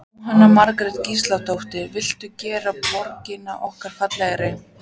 Jóhanna Margrét Gísladóttir: Viltu gera borgina okkar fallegri?